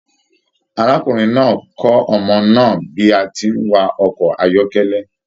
Arákùnrin náà kọ ọmọ náà bí a tí n wa ọkọ ayọkẹlẹ